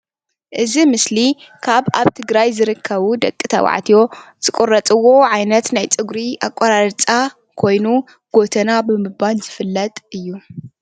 እዚ ኣምስሊ ካብ ኣብ ትግራይ ካብ ዝርከቡ ደቂ ተባዕትዮ ዝቁረፅዎ ዓይነት ናይ ፀጉሪ ኣቆራርፃ ኮይኑ ጎተና ብምባል ዝፍለጥ እዩ፡፡